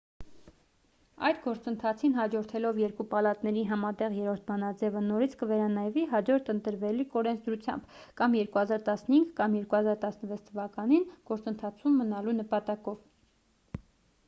այդ գործընթացին հաջորդելով երկու պալատների համատեղ 3-րդ բանաձևը նորից կվերանայվի հաջորդ ընտրվելիք օրենսդրությամբ կամ 2015 կամ 2016 թվականին գործընթացում մնալու նպատակով